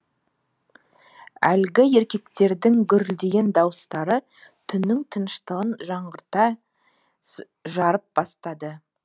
әлгі еркектердің гүрілдеген дауыстары түннің тыныштығын жаңғырықтай жарып барады